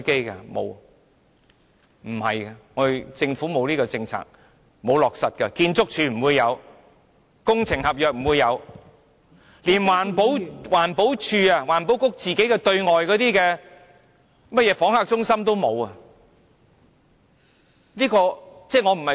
原來政府並沒有落實這項政策，建築署沒有、工程合約沒有，連環保署、環境局對外的訪客中心也沒有。